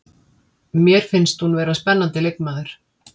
Mér finnst hún vera spennandi leikmaður.